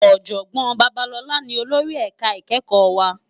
Òjògbòn Babalola ni ólórì èká ikèékò wá